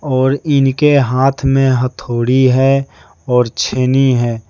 और इनके हाथ में हथौड़ी है और छेनी है।